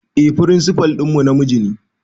Eh firinsifal ɗinmu namiji ne